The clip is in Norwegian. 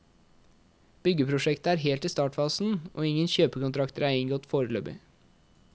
Byggeprosjektet er helt i startfasen, og ingen kjøpekontrakter er inngått foreløpig.